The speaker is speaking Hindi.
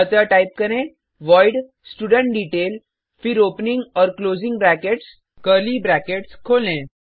अतः टाइप करें वॉइड स्टुडेंटडेटेल फिर ओपनिंग और क्लोजिंग ब्रैकेट्स कर्ली ब्रैकेट्स खोलें